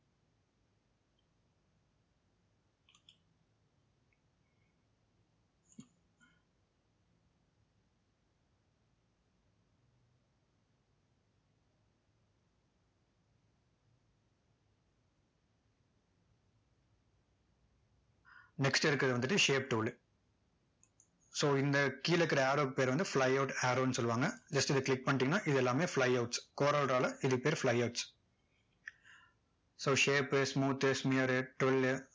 next இருக்கிறது வந்துட்டு shape tool லு so இந்த கீழ இருக்கிற arrow க்கு பெயர் வந்து flyout arrow ன்னு சொல்லுவாங்க just இதை click பண்ணிட்டீங்க அப்படின்னா இதெல்லாமே flyouts, coreldraw ல இதுக்கு பெயர் flyouts so shape, smooth, smear, twirl